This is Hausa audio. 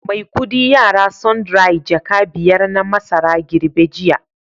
Maikudi yara sundry jaka biyar na masara girbe jiya